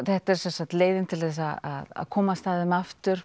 þetta er leiðin til að komast að þeim aftur